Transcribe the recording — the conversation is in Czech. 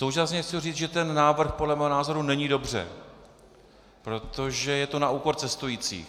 Současně chci říct, že ten návrh podle mého názoru není dobře, protože je to na úkor cestujících.